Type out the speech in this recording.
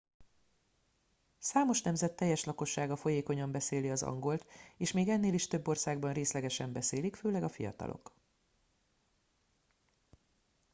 számos nemzet teljes lakossága folyékonyan beszéli az angolt és még ennél is több országban részlegesen beszélik főleg a fiatalok